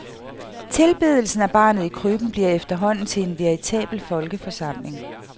Tilbedelsen af barnet i krybben bliver efterhånden til en veritabel folkeforsamling.